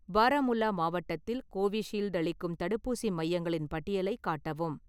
பாராமுல்லா மாவட்டத்தில் கோவிஷீல்டு அளிக்கும் தடுப்பூசி மையங்களின் பட்டியலைக் காட்டவும்